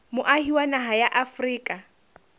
moahi wa naha ya afrika